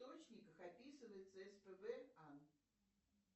источниках описывается спб ан